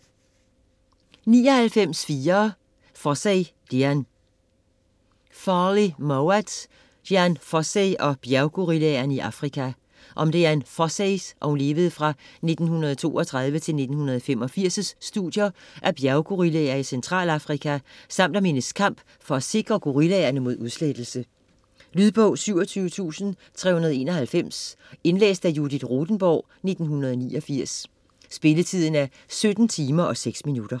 99.4 Fossey, Dian Mowat, Farley: Dian Fossey og bjerggorillaerne i Afrika Om Dian Fosseys (1932-1985) studier af bjerggorillaer i Centralafrika samt om hendes kamp for at sikre gorillaerne mod udslettelse. Lydbog 27391 Indlæst af Judith Rothenborg, 1989. Spilletid: 17 timer, 6 minutter.